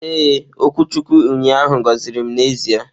Ee, okwuchukwu ụnyaahụ gọziri m n'ezie.